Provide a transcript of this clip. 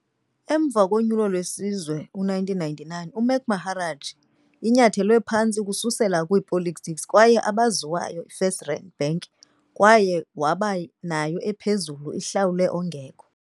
Emva wesizwe unyulo 1999, Mac Maharaj inyathelwe phantsi ukususela politics kwaye abaziwayo Firs tRand Bank kwaye waba yayo ephezulu ihlawulwe ongekho.